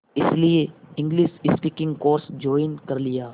इसलिए English speaking course join कर लिया